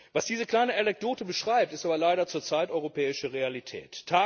Was diese kleine Anekdote beschreibt, ist aber leider zurzeit europäische Realität!